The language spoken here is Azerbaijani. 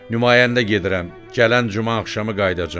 Nümayəndə gedirəm, gələn Cümə axşamı qayıdacam.